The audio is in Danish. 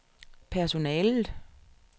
personalet